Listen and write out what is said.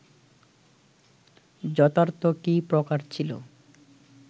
যথার্থ কি প্রকার ছিল